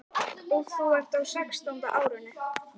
Og þú ert á sextánda árinu.